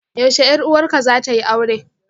Yaushe 'yar uwarka zata yi aure?